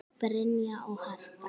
Brynja og Harpa.